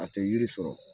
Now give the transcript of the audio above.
A tɛ yiri sɔrɔ